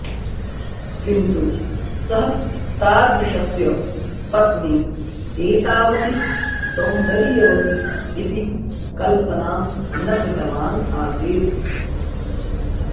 किन्तु सः तादृशस्य पत्नी एतावती सौन्दर्यवती इति कल्पनां न कृतवान् आसीत्